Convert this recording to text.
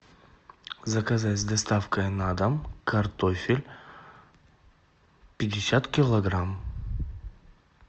заказать с доставкой на дом картофель пятьдесят килограмм